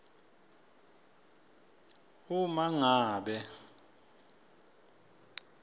uma ngabe